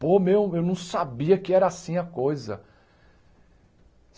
Pô, meu, eu não sabia que era assim a coisa.